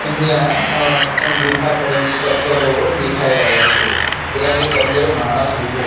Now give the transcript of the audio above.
અહીંયા અ ગુફા ટાઇપ પથ્થરો દેખાય રહ્યા છે ત્યાં એક અંદર માણસ ઊભો--